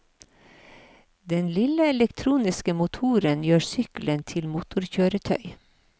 Den lille elektriske motoren gjør sykkelen til motorkjøretøy.